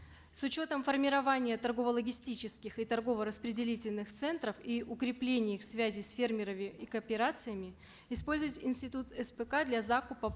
с учетом формирования торгово логистических и торгово распределительных центров и укрепления их связи с фермерами и кооперациями использовать институт спк для закупа